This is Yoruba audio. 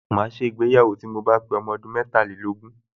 Màá ṣègbéyàwó tí mo bá pé ọmọ ọdún metàlélógún